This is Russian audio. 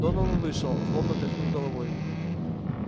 донован вышел злобно тряхнув головой